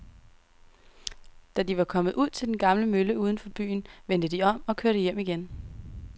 Da de var kommet ud til den gamle mølle uden for byen, vendte de om og kørte hjem igen.